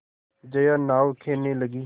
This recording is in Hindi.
जया नाव खेने लगी